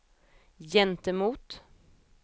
gentemot